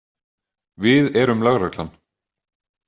Við erum lögreglan.